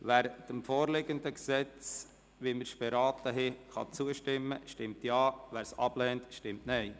Wer dem vorliegenden Gesetz so, wie wir es beraten haben, zustimmen kann, stimmt Ja, wer dies ablehnt, stimmt Nein.